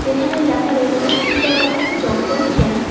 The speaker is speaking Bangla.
এখানেই লেখা রয়েছে চিলাপাতা জঙ্গল ক্যাম্প ।